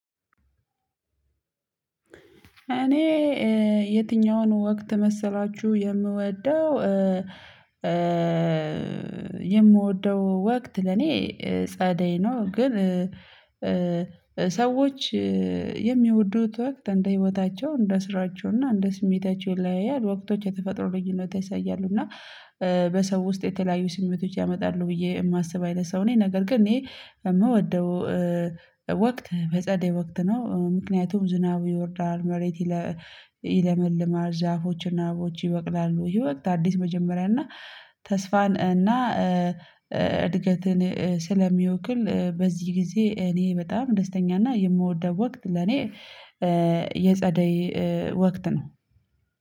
እኔ የትኛውን ወቅት መሰላችሁ የምወደው የምወደው ወቅት ለኔ ጸደይ ነው። ግን ሰዎች የሚወዱት ወቅት እንደ ህይወታቸው እንደ ስራቸው እና እንደ ስሜታቸው ይለያያል። ወቅቶች የተፈጥሮው ልዩነት ይሳያሉ እና በሰዎች ውስጥ የተለያዩ ስሜቶች ያመጣሉ ብዬ የማስብ አይነት ሰው ነኝ። ነገር ግን ይሄ የምወደው ወቅት በጸደይ ወቅት ነው። ምክንያቱም ዝናቡ ይወርዳል መሬት ይለመልማል ዛፎችና አቦች ይበቅላሉ ይሄ ወቅት አዲስ መጀመሪያ እና ተስፋን እና እድገትን ስለሚወክል። በዚህ ጊዜ እኔ በጣም ደስተኛና የምወደው ወቅት ለኔ የጸደይ ወቅት ነው።